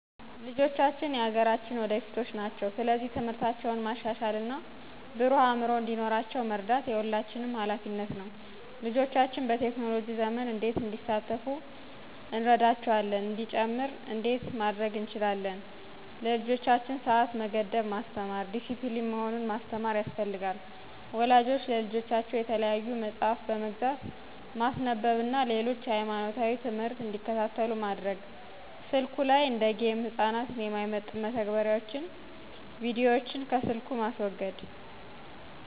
ልጆቻችን የአገራችን ወደፊቶች ናቸው። ስለዚህ ትምህርታቸውን ማሻሻል እና ብሩህ አዕምሮ እንዲኖራቸው መርዳት የሁላችንም ኃላፊነት ነው። *ልጆቻችን በቴክኖሎጂ ዘመን እንዴት እንዲሳተፉ እንረዳቸዋለ እንደሚጨምር እንዴት ማድረግ እንችላለን ለልጆቻቸው ስዓት መገደብን ማስተማር፣ ዲስፕሊን መሆኑን ማስተማር ያስፈልጋል። ወላጆች ለልጆቻቸው የተለያዩ መጽሐፍ በመግዛት ማስነበብ እነ ሌሎች የሃይማኖታዊ ትምህርት እንዲከታተሉ ማድረግ። ስልኩ ለይ እንደ ጌም ህፃናትን የማይመጥን መተግበሪያዎች ቢዲዎችን ከስልኩ ማስወገድ